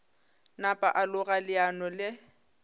napa a loga leano le